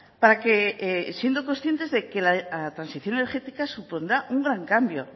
para que siendo conscientes de que la transición energética supondrá un gran cambio